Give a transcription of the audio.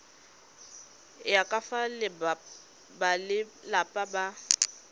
ya ka fa balelapa ba